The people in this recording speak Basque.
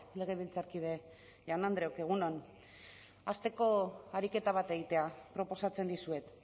legebiltzarkide jaun andreak egun on hasteko ariketa bat egitea proposatzen dizuet